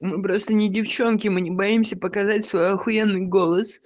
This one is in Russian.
мы просто не девчонки мы не боимся показать свой ахуенный голос